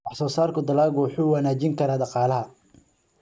Wax-soo-saarka dalaggu wuxuu wanaajin karaa dhaqaalaha.